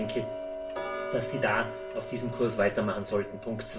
Ich denke, dass Sie auf diesem Kurs weitermachen sollten.